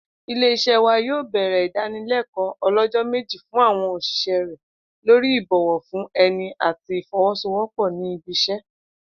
Ilé-is̩é̩ wa yó̩ò̩ bè̩rè̩ ìdánilé̩kò̩ó̩ o̩ló̩jó̩ méjì fún àwo̩n ò̩s̩ìs̩é̩ rè̩ lórí ìbò̩wo̩ fún e̩ni àti ìfo̩wó̩sowópò̩ ní ibi is̩é̩